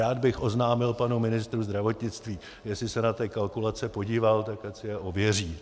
Rád bych oznámil panu ministru zdravotnictví, jestli se na ty kalkulace podíval, tak ať si je ověří.